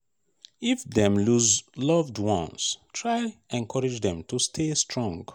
if dem loose loved ones try encourage dem to stay strong